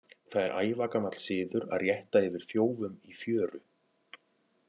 Það er ævagamall siður að rétta yfir þjófum í fjöru.